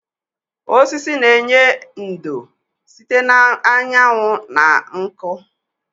Osisi na-enye ndò site na anyanwụ na nkụ.